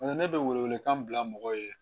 ne bɛ welewelekan bila mɔgɔ ye